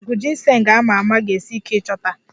Mgbọrọgwụ Ginseng a ma ama ga-esi ike ịchọta